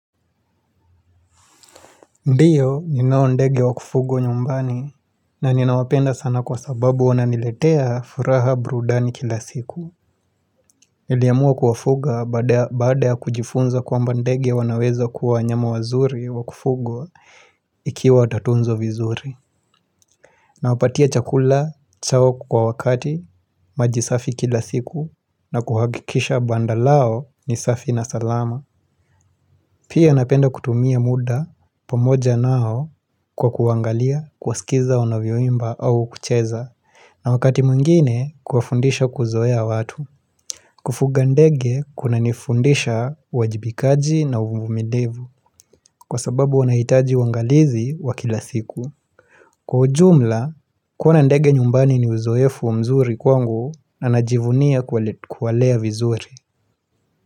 Ndiyo ninao ndege wa kufugwa nyumbani na ninawapenda sana kwa sababu wananiletea furaha burudani kila siku Niliamua kuwafuga baada ya kujifunza kwamba ndege wanaweza kuwa wanyama wazuri wa kufugwa ikiwa watatunzwa vizuri Nawapatia chakula chao kwa wakati maji safi kila siku nakuhakikisha banda lao ni safi na salama Pia napenda kutumia muda pamoja nao kwa kuangalia kuwasikiza wanavyoimba au kucheza na wakati mwingine kuwafundisha kuzoea watu Kufuga ndege kuna nifundisha uajibikaji na uvumilivu kwa sababu wanahitaji uangalizi wa kila siku Kwa ujumla kuona ndege nyumbani ni uzoefu mzuri kwangu na najivunia kuwalea vizuri.